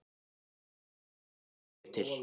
Ég sendi þrjú eða fjögur bréf til